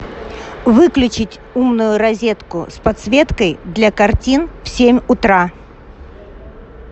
выключить умную розетку с подсветкой для картин в семь утра